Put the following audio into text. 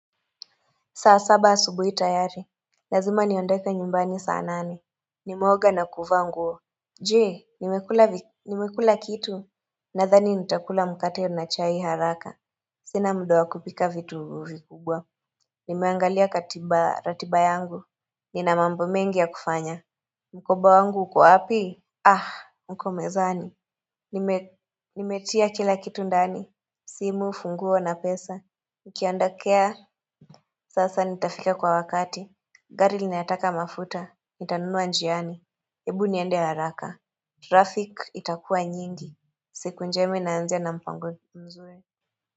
Saa saba asubuhi tayari Lazima niondoke nyumbani saa nane Nimeoga na kuvaa nguo Je nimekula kitu Nadhani nitakula mkate na chai haraka Sina mda wa kupika vitu vikubwa Nimeangalia katiba ratiba yangu Nina mambo mengi ya kufanya Mkoba wangu uko wa api uko mezani Nimetia kila kitu ndani simu funguo na pesa Ukiandakea sasa nitafika kwa wakati gari linataka mafuta nitanunua njiani Ebu niende haraka Traffic itakuwa nyingi siku njema inaanzia na mpango mzuri.